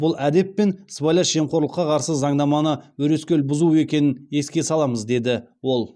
бұл әдеп пен сыбайлас жемқорлыққа қарсы заңнаманы өрескел бұзу екенін еске саламыз деді ол